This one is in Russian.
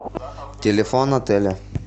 телефон отеля